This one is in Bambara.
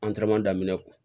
daminɛ